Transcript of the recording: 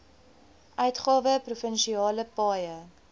uitgawe provinsiale paaie